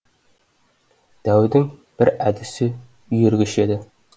дәудің бір әдісі үйіргіш еді